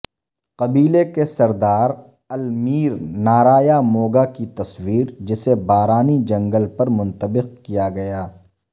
قبیلے کے سردار المیر نارایاموگا کی تصویر جسے بارانی جنگل پر منطبق کیا گیا